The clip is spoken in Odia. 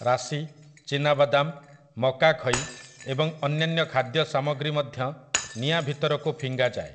ରାଶି, ଚିନାବାଦାମ, ମକାଖଇ ଏବଂ ଅନ୍ୟାନ୍ୟ ଖାଦ୍ୟ ସାମଗ୍ରୀ ମଧ୍ୟ ନିଆଁ ଭିତରକୁ ଫିଙ୍ଗା ଯାଏ ।